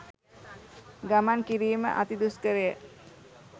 ගමන් කිරීම අති දුෂ්කරය.